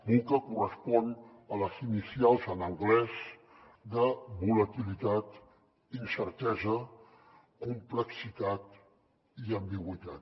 vuca correspon a les inicials en anglès de volatilitat incertesa complexitat i ambigüitat